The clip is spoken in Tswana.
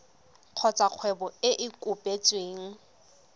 kgotsa kgwebo e e kopetsweng